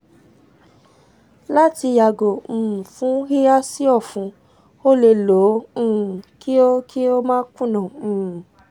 lati yago um fun hiha si ọfun o le lo o um ki o ki o ma kunna um